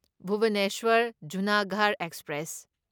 Bhubaneswar Junagarh express